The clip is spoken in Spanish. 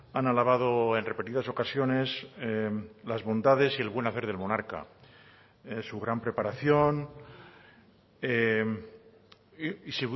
han alabado en repetidas ocasiones las bondades y el buen hacer del monarca su gran preparación y